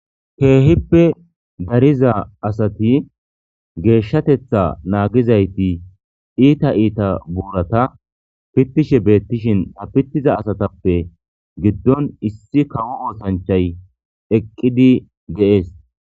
Keehippe dariza asati geeshshatetha naagizayti iita iita buurata pittishe beettishin tapitiza asatappe giddon issi kawo oosanchay eqqidi ge'ees.